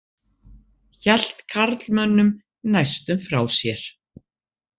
Hélt karlmönnum næstum frá sér.